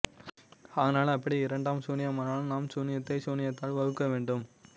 ஆனால் அப்படி இரண்டும் சூனியமானால் நாம் சூனியத்தை சூனியத்தால் வகுக்கவேண்டிவரும்